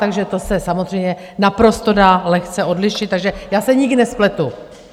Takže to se samozřejmě naprosto dá lehce odlišit, takže já se nikdy nespletu.